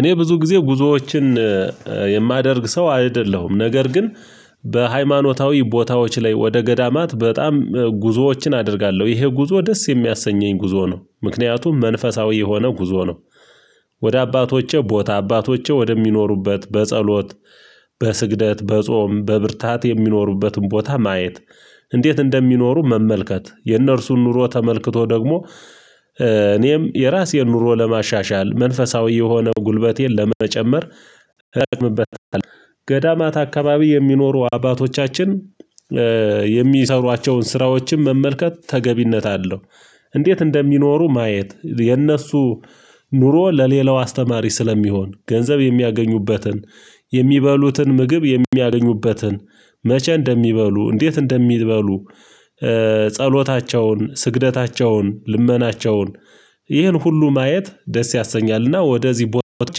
እኔ ብዙ ጊዜ ጉዞዎችን የማደርግ ሰው አይደለሁም ነገር ግን በሃይማኖታዊ ቦታዎች ላይ ወደ ገዳማት በጣም ጉዞዎችን አደርጋለሁ ይሄ ጉዞ ደስ የሚያሰኘኝ ጉዞ ነው። ምክንያቱም መንፈሳዊ የሆነ ጉዞ ነው። ወደ አባቶቼ ቦታ አባቶቼ ወደሚኖሩበት በጸሎት በስግደት በጾም በብርታት የሚኖሩበትን ቦታ ማየት እንዴት እንደሚኖሩ መመልከት የእነርሱን ኑሮ ተመልክቶ ደግሞ እኔም የራሴን ኑሮ ለማሻሻል መንፈሳዊ የሆነ ጉልበቴን ለመጨመር። ገዳማት አካባቢ የሚኖሩ አባቶቻችን የሚሰሯቸውን ስራዎችን መመልከት ተገቢነት አለው። እንዴት እንደሚኖሩ ማየት የነሱ ኑሮ ለሌላው አስተማሪ ስለሚሆን ገንዘብ የሚያገኙበትን የሚበሉትን ምግብ የሚያገኙበትን መቼ እንደሚበሉ እንዴት እንደሚበሉ ጸሎታቸውን ስግደታቸውን ልመናቸውን ይህን ሁሉ ማየት ደስ ያሰኛልና ወደዚህ ቦታወች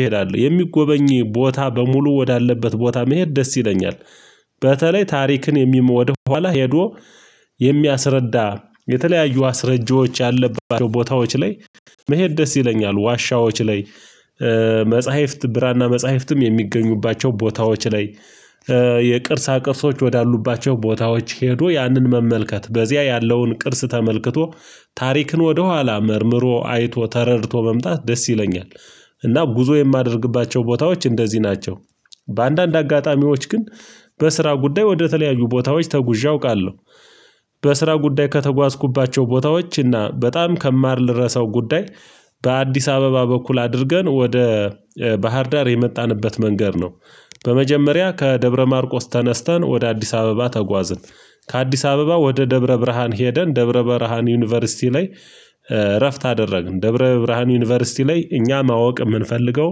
እሄዳለሁ። የሚጎበኚ ቦታ በሙሉ ወዳለበት ቦታ መሄድ ደስ ይለኛል። በተለይ ታሪክን የሚሞድ ወኋላ ሄዶ የሚያስረዳ የተለያዩ አስረጂዎች ያለባቸው ቦታዎች ላይ መሄድ ደስ ይለኛል። ዋሻዎች ላይ መጽሐፍት ብራና መጽሐፍትም የሚገኙባቸው ቦታዎች ላይ የቅርሳ ቅርሶች ወዳሉባቸው ቦታዎች ሄዶ ያንን መመልከት በዚያ ያለውን ቅርስ ተመልክቶ ታሪክን ወደኋላ መርምሮ አይቶ ተረድቶ መምጣት ደስ ይለኛል። እና ጉዞ የማደርግባቸው ቦታዎች እንደዚህ ናቸው። በአንዳንድ አጋጣሚዎች ግን በስራ ጉዳይ ወደተለያዩ ቦታዎች ተጉዠ አውቃለሁ። በስራ ጉዳይ ከተጓዝኩባቸው ቦታዎች እና በጣም ከማልረሳው ጉዳይ። በአዲስ አበባ በኩል አድርገን ወደ ባህርዳር የመጣንበት መንገድ ነው። በመጀመሪያ ከደብረ ማርቆስ ተነስተን ወደ አዲስ አበባ ተጓዝን። ከአዲስ አበባ ወደ ደብረ ብርሃን ሄደን ደብረ ብርሃን ዩኒቨርሲቲ ላይ እረፍት አደረግን ደብረ ብርሃን ዩኒቨርሲቲ ላይ እኛ ማወቅ የምንፈልገው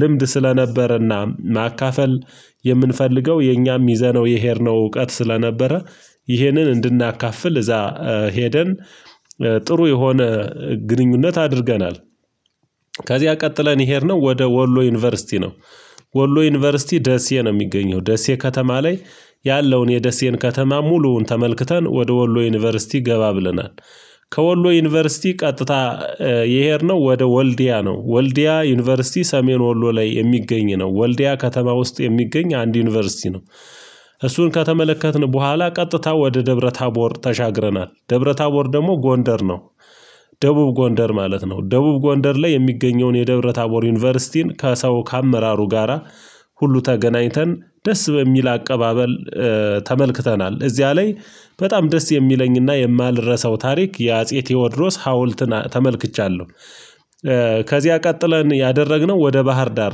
ልምድ ስለነበረና ማካፈል የምንፈልገው የኛም ይዘነው የሄድነው እውቀት ስለነበረ ይሄንን እንድናካፍል እዛ ሄደን ጥሩ የሆነ ግንኙነት አድርገናል። ከዚያ ቀጥለን የሄድነው ወደ ወሎ ዩኒቨርሲቲ ነው። ወሎ ዩኒቨርሲቲ ደሴ ነው የሚገኘው ደሴ ከተማ ላይ ያለውን የደሴን ከተማ ሙሉውን ተመልክተን ወደ ወሎ ዩኒቨርሲቲ ገባ ብለናል። ከወሎ ዩኒቨርሲቲ ቀጥታ የሄድነው ወደ ወልዲያ ነው ወልዲያ ዩኒቨርሲቲ ሰሜን ወሎ ላይ የሚገኝ ነው ወልዲያ ከተማ ውስጥ የሚገኝ አንድ ዩኒቨርሲቲ ነው። እሱን ከተመለከትን በኋላ ቀጥታ ወደ ደብረ ታቦር ተሻግረናል ደብረ ታቦር ደግሞ ጎንደር ነው። ደቡብ ጎንደር ማለት ነው ደቡብ ጎንደር ላይ የሚገኘውን የደብረ ታቦር ዩኒቨርሲቲን ከሰው ከአመራሩ ጋራ ሁሉ ተገናኝተን ደስ በሚል አቀባበል ተመልክተናል። እዚያ ላይ በጣም ደስ የሚለኝና የማልረሳው ታሪክ የአጼ ቴዎድሮስ ሀውልትን ተመልክቻለሁ። ከዚያ ቀጥለን ያደረግነው ወደ ባህር ዳር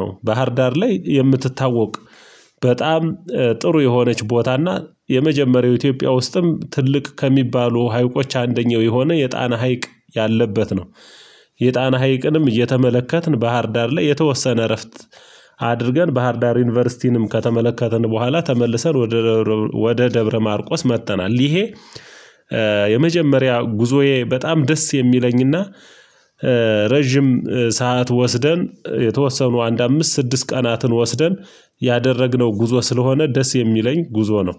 ነው ባህር ዳር ላይ የምትታወቅ በጣም ጥሩ የሆነች ቦታና የመጀመሪያው ኢትዮጵያ ውስጥም ትልቅ ከሚባሉ ሀይቆች አንደኛው የሆነ የጣና ሀይቅ ያለበት ነው። የጣና ሀይቅንም እየተመለከትን ባህርዳር ላይ የተወሰነ እረፍት አድርገን ባህርዳር ዩኒቨርሲቲንም ከተመለከትን በኋላ ተመልሰን ወደ ወደ ደብረ ማርቆስ መጥተናል። ይሄ የመጀመሪያ ጉዞዬ በጣም ደስ የሚለኝና ረጅም ሰዓት ወስደን የተወሰኑ አንድ አምስት ስድስት ቀናትን ወስደን ያደረግነው ጉዞ ስለሆነ ደስ የሚለኝ ጉዞ ነው